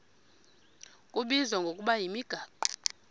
kubizwa ngokuba yimigaqo